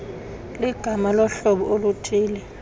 ligama lohlobo oluthille